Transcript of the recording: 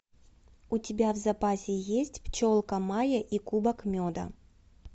у тебя в запасе есть пчелка майя и кубок меда